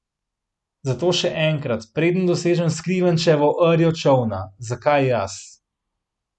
Zato še enkrat, preden dosežem skrivenčeno rjo čolna: "Zakaj jaz?